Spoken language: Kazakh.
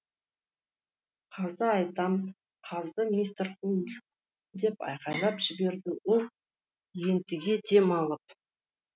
қазды айтам қазды мистер холмс деп айқайлап жіберді ол ентіге дем алып